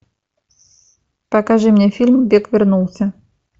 покажи мне фильм бен вернулся